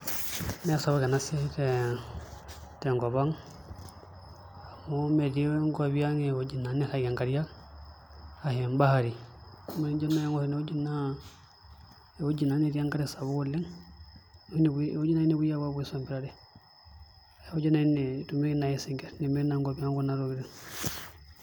Mee sapuk ena siai tenkop ang' amu metii enkop ang' iwuejitin nairragie nkariak ashu embahari ore ene naa ewueji naa netii enkare sapuk ewueji oshi nepuoi aisompirare ewueji naai netumieki naai isinkirr ekuna tokitin.